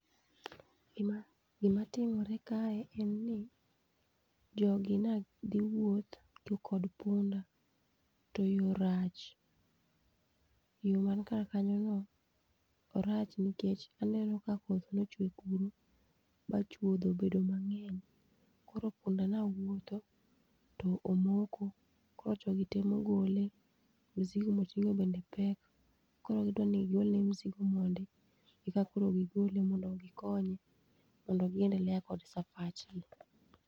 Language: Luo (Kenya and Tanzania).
Gima timre kae en n jogi ne dhi wuoth to kod punda to yo rach. Yo man kar kanyono orach nikech aneno ka koth nochwe kuro ba chuodho obedo mang'eny. Koro punda ne wuotho to omoko, koro jogi temo gole, mzigo moting'o bende pek koro gidwani ogol ne mzigo mondi e ka koro gigole mondo gikonye mondo gi endelea kod safach gi.